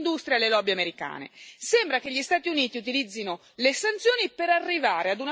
vengano messi in discussione su settori che interessano alle grandi industrie e alle lobby americane.